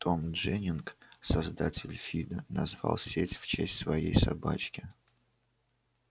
том дженнинг создатель фидо назвал сеть в честь своей собачки